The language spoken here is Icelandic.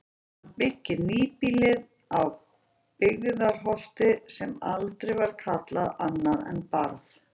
Hann byggði nýbýlið á Byggðarholti sem aldrei var kallað annað en Barð.